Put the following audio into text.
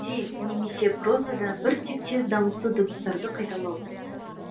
өлеңде немесе прозада бір тектес дауысты дыбыстарды қайталау